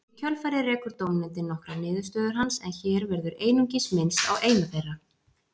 Í kjölfarið rekur dómnefndin nokkrar niðurstöður hans en hér verður einungis minnst á eina þeirra.